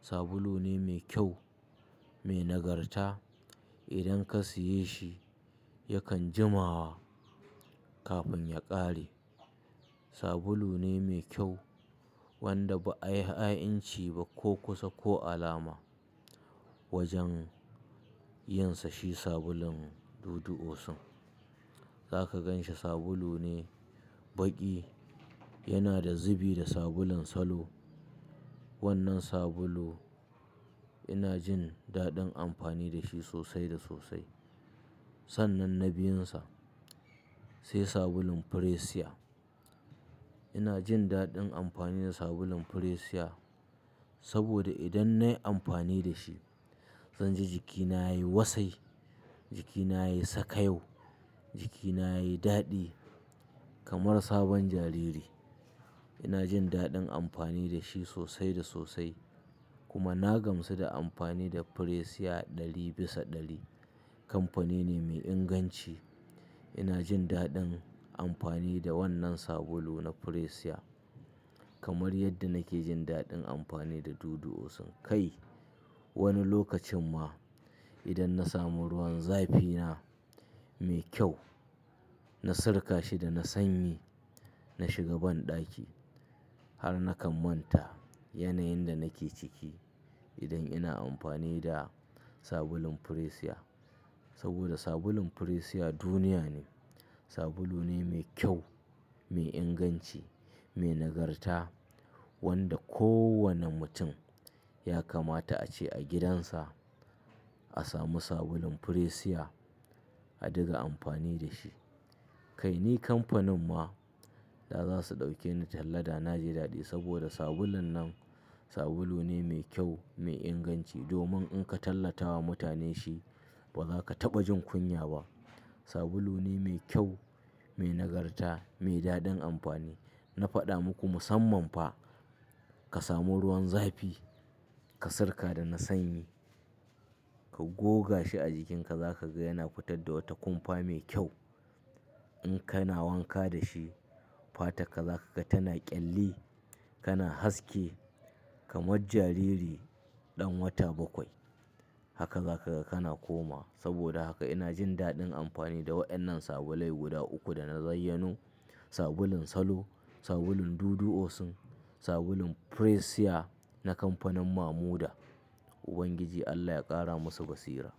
Sabulu ne mai kyau, mai nagarta. Idan ka siya shi, yakan jimawa kafin ya ƙare. Sabulu ne mai kyau wanda ba a yi ha'inci ba ko kusa ko alama. Wajen yin sa shi sabulun Dudu Osun. Zaka gan shi sabulu ne baƙi, yana da zubi da sabulun Salo. Wannan sabulu ina jin daɗin amfani da shi sosai da sosai. Sannan na biyunsa, sai sabulun Freshia. Ina jin daɗin amfani da sabulun Freshia saboda idan nayi amfani da shi, zan ji jiki na yi wasai, jiki na yi saka yau, jiki na yi daɗi kamar sabon jariri. Ina jin daɗin amfani da shi sosai da sosai kuma na gamsu da amfani da Freshia ɗari bisa ɗari. Kamfani ne mai inganci. Ina jin daɗin amfani da wannan sabulu na Freshia kamar yadda nake jin daɗin amfani da Dudu Osun. Kai wani lokacin ma idan na samu ruwan zafi na mai kyau, na sirka shi da na sanyi, na shiga banɗaki har nakan manta yanayin da nake ciki idan ina amfani da sabulun Freshia. Saboda sabulun Freshia duniya ne. Sabulu ne mai kyau, mai inganci, mai nagarta wanda ko wanne mutum ya kamata a ce a gidansa a samu sabulun Freshia a diga amfani da shi. Kai ni kamfanin ma da za su ɗauke ni talla da na ji daɗi saboda sabulun nan sabulu ne mai kyau, mai inganci. Domin in ka tallata wa mutane shi, ba za ka taɓa jin kunya ba. Sabulu ne mai kyau, mai nagarta, mai daɗin amfani. Na faɗa muku musamman fa ka samu ruwan zafi, ka sirka da na sanyi, ka goga shi a jikinka za ka ga yana fitar da wata kumfa mai kyau. In kana wanka da shi, fatar ka za ka ga tana ƙyalli, kana haske kamar jariri ɗan wata bakwai. Haka za ka ga kana koma. Saboda haka ina jin daɗin amfani da waƴannan sabulai guda uku da na zayyano. Sabulun Salo, sabulun Dudu Osun, sabulun Freshia na kamfanin Mamuda. Ubangiji Allah ya ƙara masu basira.